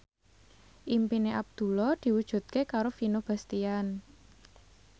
impine Abdullah diwujudke karo Vino Bastian